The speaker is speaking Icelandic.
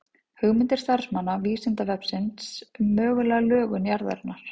Hugmyndir starfsmanna Vísindavefsins um mögulega lögun jarðarinnar.